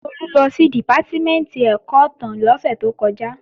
Tolú lọ sí Dìpátímẹ̀ntì ẹ̀kọ́ ìtàn lósẹ̀ tó kọjá